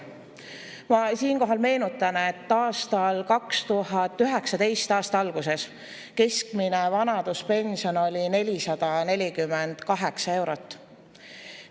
Ma siinkohal meenutan, et 2019. aasta alguses keskmine vanaduspension oli 448 eurot.